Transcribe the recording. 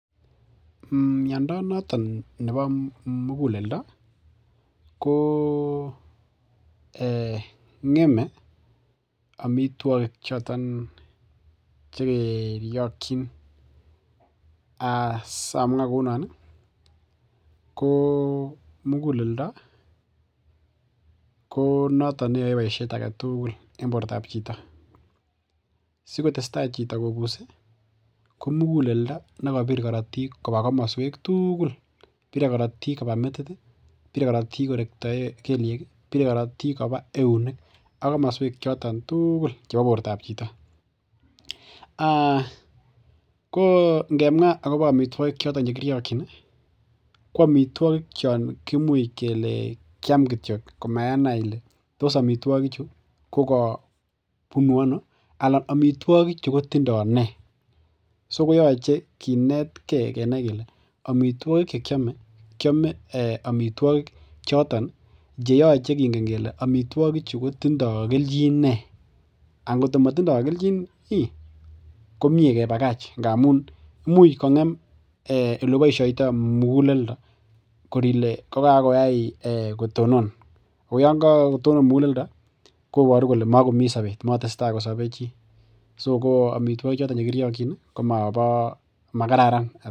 Miando noton nebo muguleldo, ko ng'eme amituogik choton chegeriakchin, asiamwa kounon ih , ko muguleldo ko noton neyae boisiet agetugul, en bortab chito. sikotestai chito kobuse ko muguleldonekabir karatiik koba kamasuek tugul bire karatiik koba metit ih , bire karatiik koba kelyeek ih bire karatiik koba eunek . Ak kamasuek choton tugul chebo bortab chito. Ko ngemwa akobo amituagik choton chekiriakchin ih ko amituakik chon imuch kele kiam kityo komenai Ile tos amituakik chu ko kokabunu ano anan amituakik chu kotinda nee, koyache kinetke kenai kele kiame amituogik choton ih cheyache kingen kele amituogik chu kotindo kelchin nee angot ko matindo kelchin komie kebakach ngamun imuch kong'em olebaishaita muguleldo kor Ile kokakoyai kotonon koyaan kakotono muguleldo kobaru kole magomi sabet, matesetai kosabe chi. So ko amituakik choton chekiriakyin koma kararan